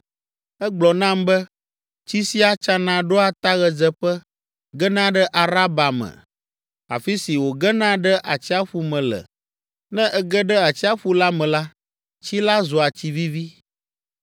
Egblɔ nam be, “Tsi sia tsana ɖoa ta ɣedzeƒe, gena ɖe Araba me, afi si wògena ɖe Atsiaƒu me le. Ne ege ɖe Atsiaƒu la me la, tsi la zua tsi vivi.